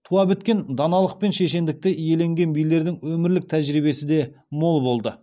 туа біткен даналық мен шешендікті иеленген билердің өмірлік тәжірибесі де мол болды